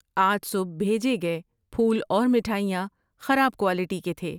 آج صبح بھیجے گئے پھول اور مٹھائیاں خراب کوالٹی کے تھے۔